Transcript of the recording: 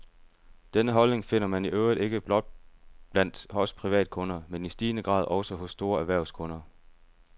Denne holdning finder man i øvrigt ikke blot blandt os privatkunder, men i stigende grad også hos store erhvervskunder.